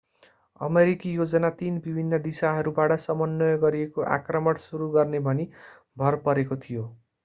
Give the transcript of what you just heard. अमेरिकी योजना तीन विभिन्न दिशाहरूबाट समन्वय गरिएको आक्रमण सुरू गर्ने भनी भर परेको थियो